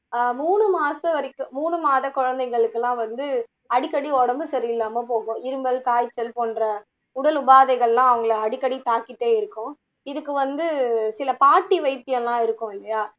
ஆஹ் மூணு மாசத்ம் வரைக்கும் மூணு மாத குழந்தைங்களுக்கு எல்லாம் வந்து அடிக்கடி உடம்பு சரியில்லாம போகும் இருமல், காய்ச்சல் போன்ற உடல் உபாதைகள் எல்லாம் அவங்களை அடிக்கடி தாக்கிட்டே இருக்கும் இதுக்கு வந்து சில பாட்டி வைத்தியம் எல்லாம் இருக்கும் இல்லையா